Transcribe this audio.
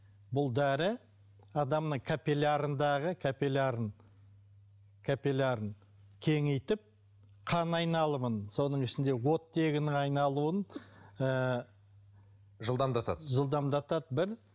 бұл дәрі адамның каппилярындағы капиллярын капиллярын кеңейтіп қан айналымын соның ішінде оттегінің айналуын ыыы жылдамдатады жылдамдатады бір